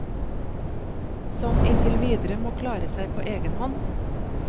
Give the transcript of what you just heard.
Som inntil videre må klare seg på egen hånd.